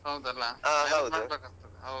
ಹೌದಲ್ಲಾ. balance ಮಾಡಬೇಕಾಗ್ತದೆ.